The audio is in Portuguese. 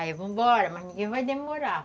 Aí eu vou embora, mas ninguém vai demorar.